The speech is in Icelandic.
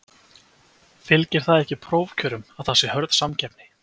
Fylgir það ekki prófkjörum að það sé hörð samkeppni?